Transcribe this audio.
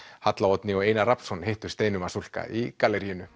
halla Oddný og Einar Rafnsson hittu Steinu Vasulka í galleríinu